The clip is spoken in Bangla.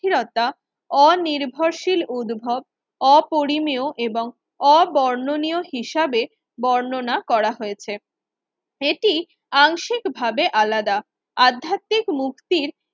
স্থিরতা অনির্ভরশীল উদ্ভব অপরিমেয় এবং অ বর্ণনীয় হিসাবে বর্ণনা করা হয়েছে। এটি আংশিক ভাবে আলাদা আধ্যাত্মিক মুক্তির